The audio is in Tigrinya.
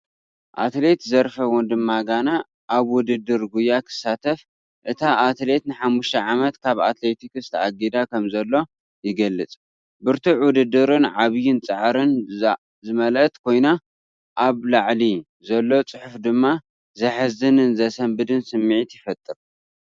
ኣትሌት ዘርፈ ወንድማጋነ ኣብ ውድድር ጉያ ክሳተፍ ፣ እታ ኣትሌት ንሓሙሽተ ዓመት ካብ ኣትሌቲክስ ተኣጊዳ ከምዘሎ ይገልጽ። ብርቱዕ ውድድርን ዓቢይን ጻዕርን ዝመልአት ኮይና፡ ኣብ ላዕሊ ዘሎ ጽሑፍ ድማ ዘሕዝንን ዘሰንብድን ስምዒት ይፈጥር።